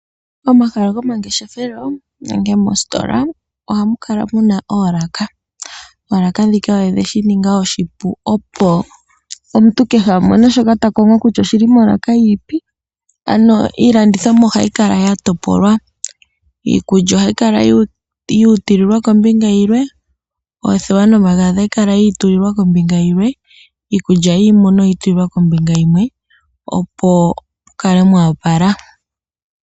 Momahala gomangeshefelo nenge moositola oha mu kala muna oolaka, oolaka ndhika odhe shininga oshipu ano opo omuntu kehe a mone shoka ta kongo kutya oshili molaka yi ipi, ano iilandithomwa oha yikala yatopolwa iikulya oha yikala yi itulilwa kombinga yilwe, oothewa nomagadhi oyi itulilwa kombinga yilwe, iikulya yiimuna oyi itulilwa kombinga yimwe opo mu kale mwa opala.